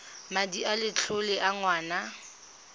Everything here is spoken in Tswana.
madi a letlole a ngwana